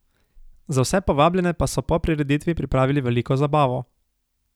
Za vse povabljene pa so po prireditvi pripravili veliko zabavo.